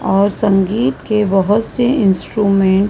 और संगीत के बहोत से इंस्ट्रूमेंट --